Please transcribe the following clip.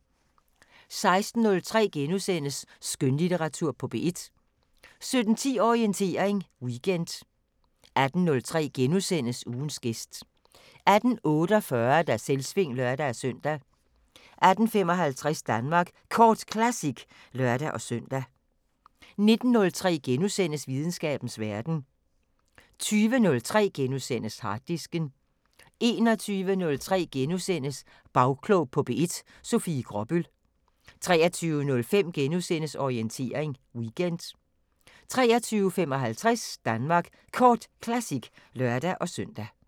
16:03: Skønlitteratur på P1 * 17:10: Orientering Weekend 18:03: Ugens gæst * 18:48: Selvsving (lør-søn) 18:55: Danmark Kort Classic (lør-søn) 19:03: Videnskabens Verden * 20:03: Harddisken * 21:03: Bagklog på P1: Sofie Gråbøl * 23:05: Orientering Weekend * 23:55: Danmark Kort Classic (lør-søn)